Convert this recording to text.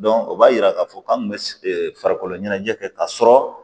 o b'a yira k'a fɔ k'an kun bɛ farikolo ɲɛnajɛ kɛ ka sɔrɔ